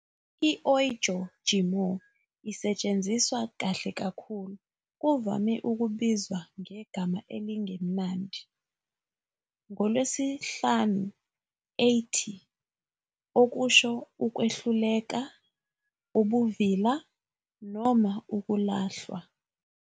I- "Ọjọ'Jimoh" isetshenziswa kahle kakhulu. Kuvame ukubizwa ngegama "elingemnandi" ngoLwesihlanu, Ẹtì, okusho ukwehluleka, ubuvila, noma ukulahlwa.